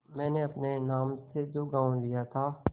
मैंने अपने नाम से जो गॉँव लिया था